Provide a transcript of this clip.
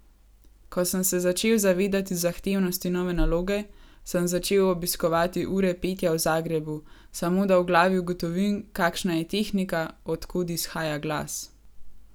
Ko sem se začel zavedati zahtevnosti nove naloge, sem začel obiskovati ure petja v Zagrebu, samo da v glavi ugotovim, kakšna je tehnika, od kod izhaja glas.